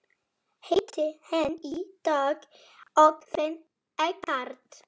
Hitti hann í dag og fann ekkert.